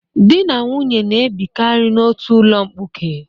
Di na nwunye na-ebikarị n'otu ụlọ mkpuke.